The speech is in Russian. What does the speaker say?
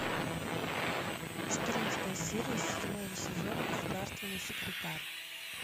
четырнадцатая серия седьмого сезона государственный секретарь